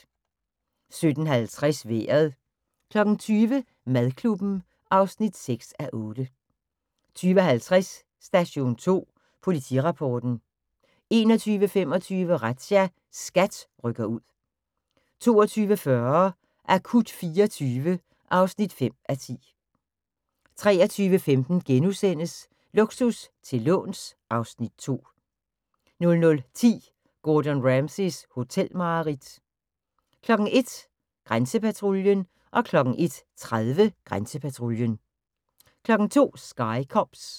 17:50: Vejret 20:00: Madklubben (6:8) 20:50: Station 2 Politirapporten 21:25: Razzia – SKAT rykker ud 22:40: Akut 24 (5:10) 23:15: Luksus til låns (Afs. 2)* 00:10: Gordon Ramsays hotelmareridt 01:00: Grænsepatruljen 01:30: Grænsepatruljen 02:00: Sky Cops